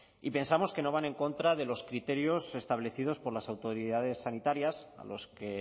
y pensamos que no van en contra de los criterios establecidos por las autoridades sanitarias a los que